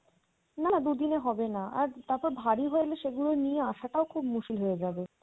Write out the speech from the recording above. না না দুদিনে হবেনা আর তারপর ভারী ভারী সেগুলো নিয়ে আসাটাও খুব মুশকিল হয়ে যাবে।